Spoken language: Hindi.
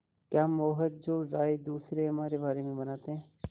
क्या हम वो हैं जो राय दूसरे हमारे बारे में बनाते हैं